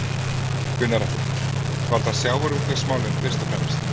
Gunnar Atli: Var það sjávarútvegsmálin fyrst og fremst?